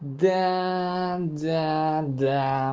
да да да